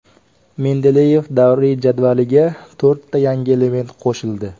Mendeleyev davriy jadvaliga to‘rtta yangi element qo‘shildi.